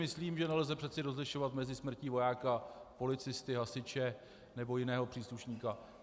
Myslím, že nelze přece rozlišovat mezi smrtí vojáka, policisty, hasiče nebo jiného příslušníka.